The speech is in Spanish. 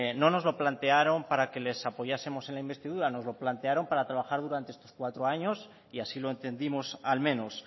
no nos lo plantearon para que le apoyásemos en la investidura nos lo plantearon para trabajar durante estos cuatros años y así lo entendimos al menos